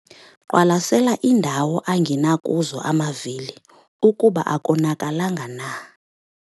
Qwalasela iindawo angina kuzo amavili ukuba akonakalanga na.